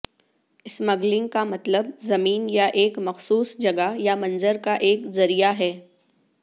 smuggling کا مطلب زمین یا ایک مخصوص جگہ یا منظر کا ایک ذریعہ ہے